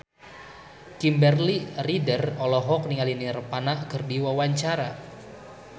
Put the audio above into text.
Kimberly Ryder olohok ningali Nirvana keur diwawancara